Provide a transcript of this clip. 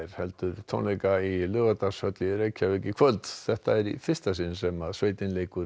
heldur tónleika í Laugardalshöll í kvöld þetta er í fyrsta sinn sem sveitin leikur